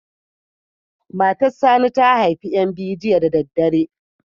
Matar Sani ta haifi ƴan biyu jiya da daddare.